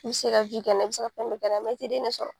I bi se ka kɛ n'a ye , i bi se ka fɛn bɛɛ kɛ n'a ye. i ti den de sɔrɔ.